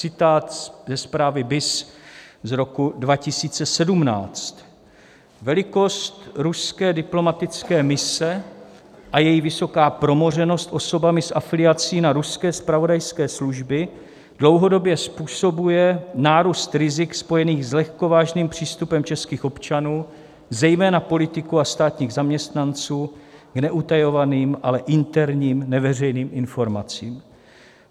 Citát ze zprávy BIS z roku 2017: "Velikost ruské diplomatické mise a její vysoká promořenost osobami s afiliací na ruské zpravodajské služby dlouhodobě způsobuje nárůst rizik spojených s lehkovážným přístupem českých občanů, zejména politiků a státních zaměstnanců, k neutajovaným, ale interním neveřejným informacím.